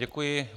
Děkuji.